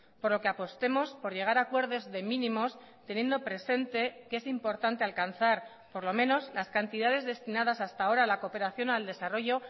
por lo que apostemos por llegar a acuerdos de mínimos teniendo presente que es importante alcanzar por lo menos las cantidades destinadas hasta ahora a la cooperación al desarrollo